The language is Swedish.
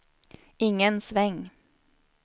ingen sväng